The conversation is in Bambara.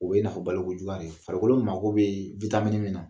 O be i n'a fɔ baliku juguya de ye. Farikolo mako bee min na